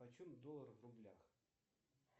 почем доллар в рублях